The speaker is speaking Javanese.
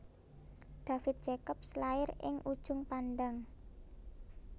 David Jacobs lair ing Ujung Pandang